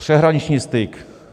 Přeshraniční styk.